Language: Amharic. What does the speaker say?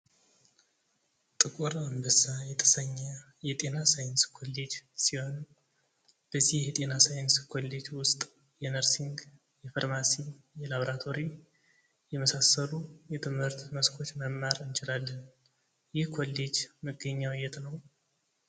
ጥቁር አንበሳ የተሰኘ የጤና ሣይንስ ኮሌጅ ሲሆን በዚህ የጤና ሣይንስ ኮሌጅ ውስጥ የነርሲንግ፥ የፋርማሲ ፥ የላቦራቶሪ የመሳሰሉ የትምህርት መስኮች መማር እንችላለን። ይህ ኮሌጅ መገኛው የት ነው?